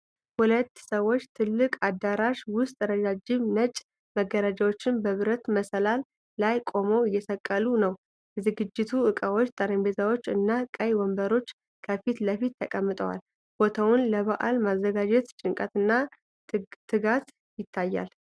ሁለት ሰዎች ትልቅ አዳራሽ ውስጥ ረጃጅም ነጭ መጋረጃዎችን በብረት መሰላል ላይ ቆመው እየሰቀሉ ነው። የዝግጅት ዕቃዎች፣ ጠረጴዛዎች እና ቀይ ወንበሮች ከፊት ለፊት ተቀምጠዋል። ቦታውን ለበዓል የማዘጋጀት ጭንቀትና ትጋት ይታያል።